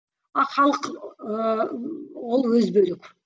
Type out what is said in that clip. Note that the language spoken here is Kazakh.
а халық ыыы ол өзі бөлек